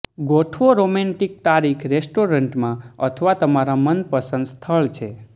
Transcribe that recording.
ગોઠવો રોમેન્ટિક તારીખ રેસ્ટોરન્ટમાં અથવા તમારા મનપસંદ સ્થળ છે